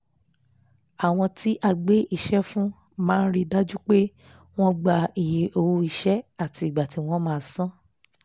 àwọn tí a gbé iṣẹ́ fún máa rí i dájú pé wọ́n gbà iye owó iṣẹ́ àti ìgbà tí wọ́n máa san án